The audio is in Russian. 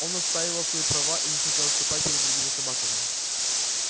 он отстаивал свои права и не хотел отступать перед другими собаками